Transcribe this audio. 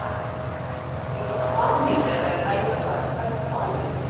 Hvílík hamingja þegar Helga sagði: Þetta er faðir minn!